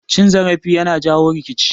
Cin zarafi yana jawo rikici